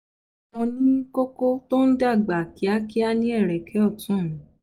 mo ní koko tó ń dàgbà kíákíá ní ẹ̀rẹ̀kẹ́ ọ̀tún mi